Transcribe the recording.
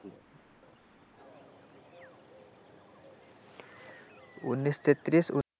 ঊনিশ তেত্রিশ.